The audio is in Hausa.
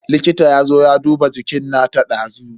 Likita yazo ya duba jikin nata dazu.